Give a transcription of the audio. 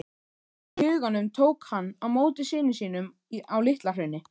í huganum tók hann á móti syni sínum á LitlaHrauni.